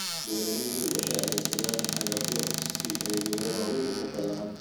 Beeraleydu waxay adeegsadaan cagafyo si ay beero waaweyn u falaan.